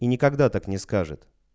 и никогда так не скажет